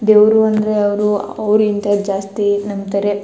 ದೇವ್ರು ಅಂದ್ರೆ ಅವ್ರು ಅವ್ರು ಇಂತ ಜಾಸ್ತಿ ನಂಬತ್ತರೆ --